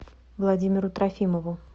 владимиру трофимову